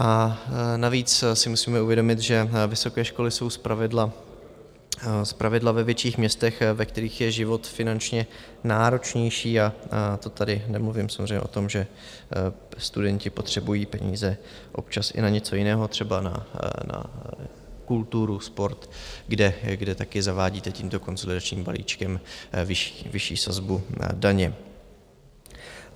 A navíc si musíme uvědomit, že vysoké školy jsou zpravidla ve větších městech, ve kterých je život finančně náročnější, a to tady nemluvím samozřejmě o tom, že studenti potřebují peníze občas i na něco jiného, třeba na kulturu, sport, kde také zavádíte tímto konsolidačním balíčkem vyšší sazbu daně.